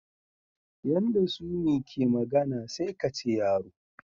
Yanda Sumi ke magana sai kace yaro.